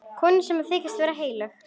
Konu sem þykist vera heilög.